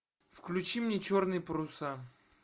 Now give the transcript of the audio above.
включи мне черные паруса